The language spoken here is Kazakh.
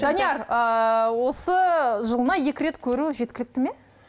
данияр ыыы осы жылына екі рет көру жеткілікті ме